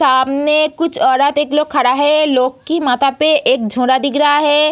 सामने कुछ औरत एक लोग खड़ा है लोग की माथा पे एक झोरा दिख रहा है।